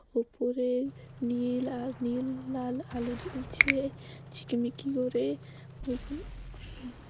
ওপরে নীল আর নীল লাল আলো জ্বলছে ঝিকিমিকি করে ওইখানে --